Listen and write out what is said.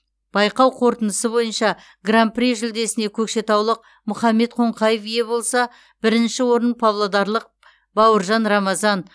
байқау қорытындысы бойынша гран при жүлдесіне көкшетаулық мұхаммед қонқаев ие болса бірінші орын павлодарлық бауыржан рамазан